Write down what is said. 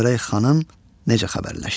Görək xanım necə xəbərləşdi?